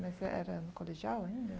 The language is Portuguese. Mas era no colegial ainda?